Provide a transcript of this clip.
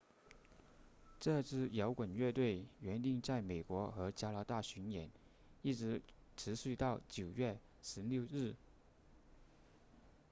这支摇滚乐队原定在美国和加拿大巡演一直持续到9月16日